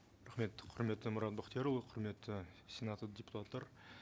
рахмет құрметті мұрат бақтиярұлы құрметті сенат депутаттары